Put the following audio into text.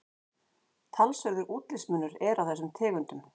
Talsverður útlitsmunur er á þessum tegundum.